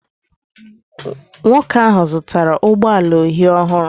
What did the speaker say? Nwoke ahụ zụtara ụgbọ ala uhie ọhụrụ